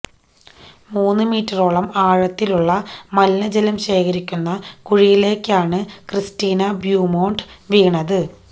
മൂന്നു മീറ്ററോളം ആഴത്തിലുള്ള മലിനജലം ശേഖരിക്കുന്ന കുഴിയിലേക്കാണ് ക്രിസ്റ്റീന ബ്യൂമോണ്ട് വീണത്